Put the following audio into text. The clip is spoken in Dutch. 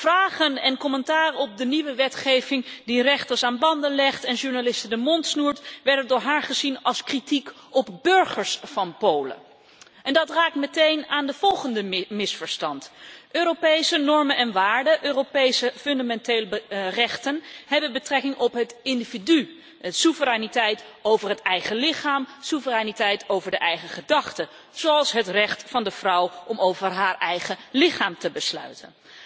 Vragen en commentaar op de nieuwe wetgeving, die rechters aan banden legt en journalisten de mond snoert, werden door haar gezien als kritiek op de burgers van Polen. Dat raakt meteen aan het volgende misverstand Europese normen en waarden, Europese fundamentele rechten hebben betrekking op het individu, soevereiniteit over het eigen lichaam, soevereiniteit over de eigen gedachten, zoals het recht van de vrouw om over haar eigen lichaam te beschikken.